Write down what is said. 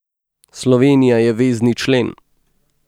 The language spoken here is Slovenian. Slovenija je vezni člen.